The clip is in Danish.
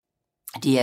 DR2